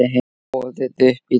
Boðið upp í dans